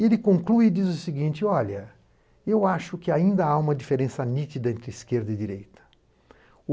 E ele conclui e diz o seguinte, olha, eu acho que ainda há uma diferença nítida entre esquerda e direita.